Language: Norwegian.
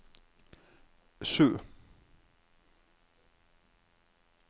sju